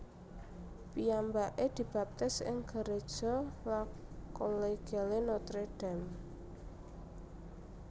Piyambaké dibaptis ing gereja La Collégiale Notre Dame